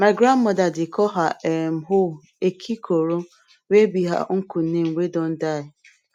my grandmother dey call her um hoe ekikoro wey be her uncle name wey don die